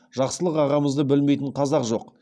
жақсылық ағамызды білмейтін қазақ жоқ